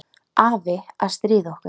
Afi að stríða okkur.